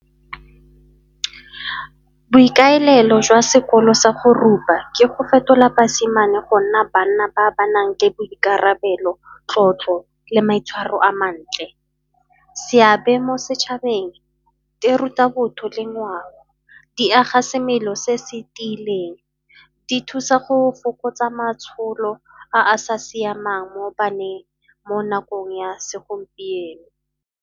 Boikaelelo jwa sekolo sa go rupa ke go fetola basimane go nna banna ba ba nang le boikarabelo, tlotlo le maitshwaro a mantle. Seabe mo setšhabeng, di ruta botho le ngwao, di aga semelo se se tiileng, di thusa go fokotsa matsholo a sa siamang mo baneng mo nakong ya segompieno.